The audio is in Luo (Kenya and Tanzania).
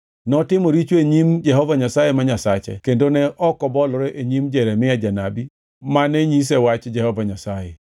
Notimo richo e nyim Jehova Nyasaye ma Nyasache kendo ne ok obolore e nyim Jeremia janabi mane nyise wach Jehova Nyasaye.